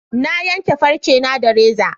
Na yanka farce na da reza